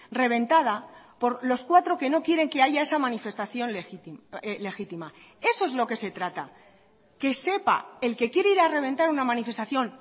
reventada por los cuatro que no quieren que haya esa manifestación legítima eso es lo que se trata que sepa el que quiere ir a reventar una manifestación